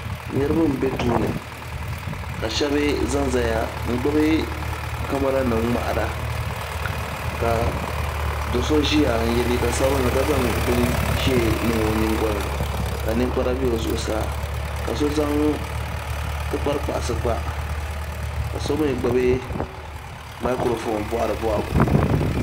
Niriba n bɛ duu ni ka shɛba za n zaya n gbubi kamara nim ŋmahira ka doo so ʒiya n yɛ liiga sabinli ka zaŋ bin ʒee niŋ o nyingoli ni ka ninkpara bɛ o zuɣusaa ka so zaŋ tikpari kpaɣisi kpa ka so mi gbubi maakurofoon bɔhiri bɔhigu.